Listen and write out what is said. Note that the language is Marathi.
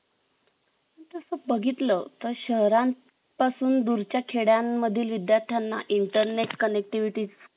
तस बघितल तर शहरां पासून दूरच्या खेड्यां मधील विद्यार्थ्यांना internet connectivity